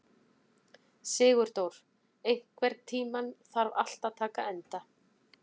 Sigurdór, einhvern tímann þarf allt að taka enda.